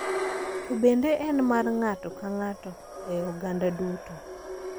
To bende en mar ng'ato ka ng'ato e I oganda duto.